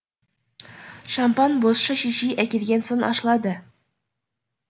шампан бозша шешей әкелген соң ашылады